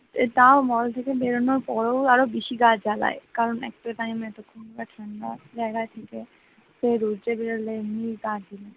তাও mall থেকে বেরোনোর পরেও আরো বেশি গা জ্বালায় কারণ একটা টাইমে তো ঠান্ডা ঠান্ডা জায়গায় ছিলে তারপর রোদে বেড়ালে এমনি গা জ্বালা,